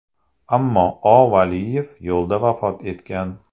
Ammo O.Valiyev yo‘lda vafot etgan.